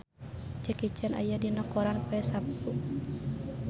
Jackie Chan aya dina koran poe Saptu